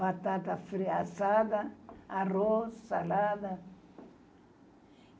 Batata assada, arroz, salada.